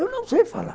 Eu não sei falar.